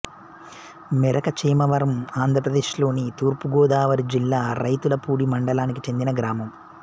మెరక చేమవరం ఆంధ్రప్రదేశ్లోని తూర్పు గోదావరి జిల్లా రౌతులపూడి మండలానికి చెందిన గ్రామం